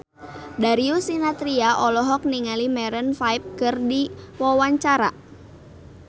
Darius Sinathrya olohok ningali Maroon 5 keur diwawancara